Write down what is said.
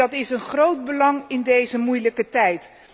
En dat is van groot belang in deze moeilijke tijd.